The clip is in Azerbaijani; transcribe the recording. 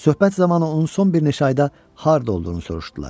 Söhbət zamanı onun son bir neçə ayda harda olduğunu soruşdular.